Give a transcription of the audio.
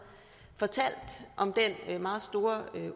fortalt om den meget store